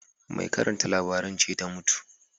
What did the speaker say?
Mai karanta labaran ce ta mutu